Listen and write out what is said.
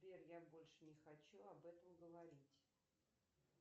сбер я больше не хочу об этом говорить